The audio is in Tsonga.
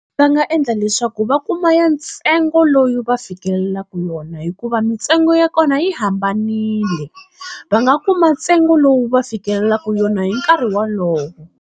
Va nga endla leswaku va kuma ya ntsengo lowu va fikelelaka wona hikuva mintsengo ya kona yi hambanile, va nga kuma ntsengo lowu va fikelelaka wona hi nkarhi wolowo.